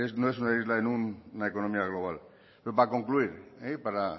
no es una isla en una economía global pero para concluir y para